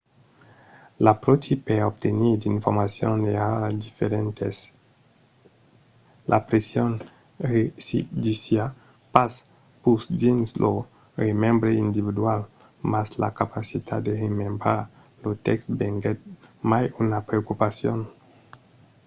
l'apròchi per obtenir d'informacions èra diferent. la pression residissiá pas pus dins lo remembre individual mas la capacitat de remembrar lo tèxt venguèt mai una preocupacion